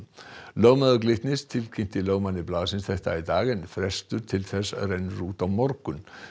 lögmaður Glitnis tilkynnti lögmanni blaðsins þetta í dag en frestur til þess rennur út á morgun